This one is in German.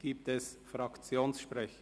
Gibt es Fraktionssprecher?